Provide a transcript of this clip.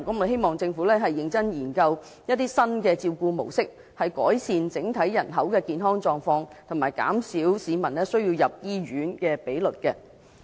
希望政府認真研究新照顧模式，改善整體人口的健康狀況及減少市民入院的比率。